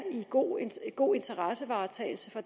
god god interessevaretagelse for